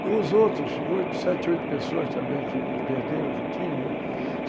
E os outros, oito, sete, oito pessoas também que perderam, que tinham, né?